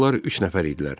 İndi onlar üç nəfər idilər.